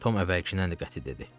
Tom əvvəlkindən də qəti dedi.